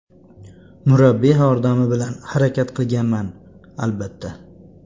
Murabbiy yordami bilan harakat qilganman, albatta.